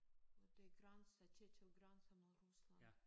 Øh det grænse til til grænse mod Rusland